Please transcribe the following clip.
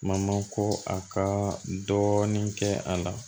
Mama ko a ka dɔɔnin kɛ a la